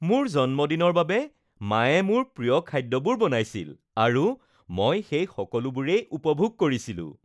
মোৰ জন্মদিনৰ বাবে মায়ে মোৰ প্ৰিয় খাদ্যবোৰ বনাইছিল আৰু মই সেই সকলোবোৰেই উপভোগ কৰিছিলোঁ